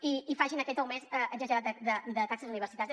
i que facin aquest augment exagerat de taxes universitàries